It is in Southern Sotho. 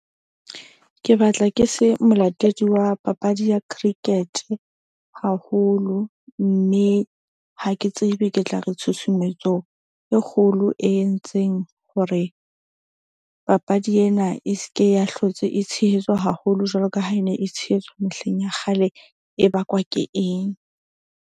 Ke batla ke se molatedi wa papadi ya cricket-e haholo. Mme ha ke tsebe ke tla re tshusumetso e kgolo e entseng hore papadi ena e seke ya hlotse, e tshehetswa haholo jwalo ka ha e ne e tshehetswa mehleng ya kgale. E bakwa ke eng?